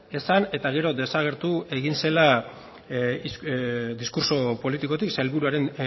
esan eta gero desagertu egin zela diskurtso politikotik sailburuaren